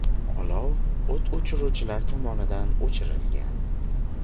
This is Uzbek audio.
Olov o‘t o‘chiruvchilar tomonidan o‘chirilgan.